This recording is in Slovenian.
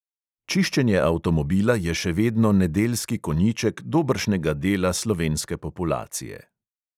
Čiščenje avtomobila je še vedno nedeljski konjiček dobršnega dela slovenske populacije.